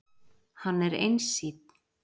Hann er einsýnn.